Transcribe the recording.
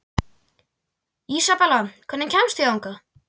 Ísabella, hvernig kemst ég þangað?